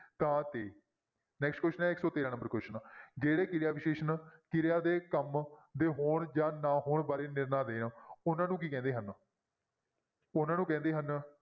ਤਾਂ, ਤੇ next question ਹੈ ਇੱਕ ਸੌ ਤੇਰਾਂ number question ਜਿਹੜੇ ਕਿਰਿਆ ਵਿਸ਼ੇਸ਼ਣ ਕਿਰਿਆ ਦੇ ਕੰਮ ਦੇ ਹੋਣ ਜਾਂ ਨਾ ਹੋਣ ਬਾਰੇ ਨਿਰਣਾ ਦੇਣ ਉਹਨਾਂ ਨੂੰ ਕੀ ਕਹਿੰਦੇ ਹਨ ਉਹਨਾਂ ਨੂੰ ਕਹਿੰਦੇ ਹਨ,